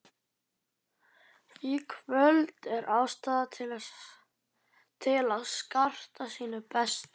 Í kvöld er ástæða til að skarta sínu besta.